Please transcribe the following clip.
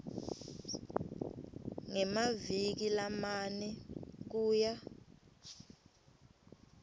ngemaviki lamane kuya